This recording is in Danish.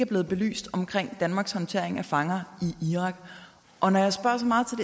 blevet belyst omkring danmarks håndtering af fanger i irak og når jeg spørger